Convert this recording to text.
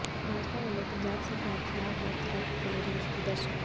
ਭਾਜਪਾ ਵੱਲੋਂ ਪੰਜਾਬ ਸਰਕਾਰ ਖ਼ਿਲਾਫ਼ ਵਰਤ ਰੱਖ ਕੇ ਰੋਸ ਪ੍ਰਦਰਸ਼ਨ